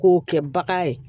K'o kɛ bagan ye